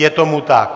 Je tomu tak.